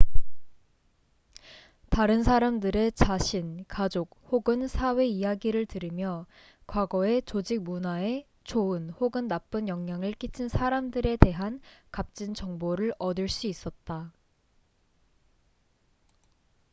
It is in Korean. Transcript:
다른 사람들의 자신 가족 혹은 사회 이야기를 들으며 과거에 조직 문화에 좋은 혹은 나쁜 영향을 끼친 사람들에 대한 값진 정보를 얻을 수 있었다